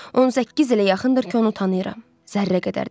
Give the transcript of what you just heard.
18 ilə yaxındır ki, onu tanıyıram, zərrə qədər dəyişməyib.